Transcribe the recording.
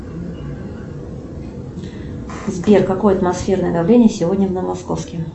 сбер какое атмосферное давление сегодня в новомосковске